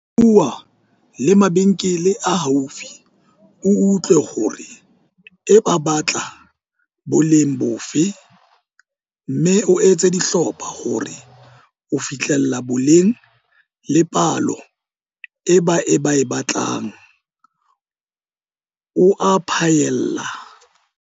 Bua le mabenkele a haufi o utlwe hore e ba batla boleng bofe mme o etse dihlopha hore o fihlelle boleng le palo e ba e batlang, o a phaella.